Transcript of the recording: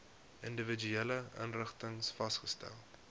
individuele inrigtings vasgestel